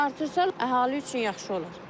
Artırsa əhali üçün yaxşı olar.